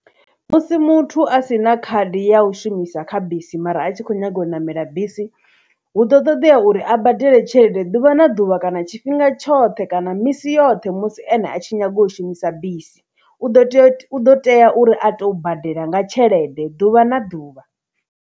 Musi muthu a sina khadi ya u shumisa kha bisi mara a tshi khou nyaga u ṋamela bisi, huḓo toḓea uri a badele tshelede ḓuvha na ḓuvha, kana tshifhinga tshoṱhe, kana misi yoṱhe musi ene a tshi nyaga u shumisa bisi, u ḓo tea, u ḓo tea uri a to badela nga tshelede ḓuvha na ḓuvha.